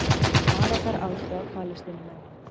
Arabar aðstoða Palestínumenn